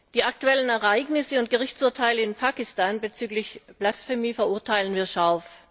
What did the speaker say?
Die aktuellen Ereignisse und Gerichtsurteile in Pakistan bezüglich Blasphemie verurteilen wir scharf.